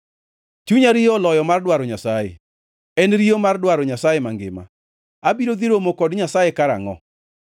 Chunya riyo oloyo mar dwaro Nyasaye. En riyo mar dwaro Nyasaye mangima. Abiro dhi romo kod Nyasaye karangʼo?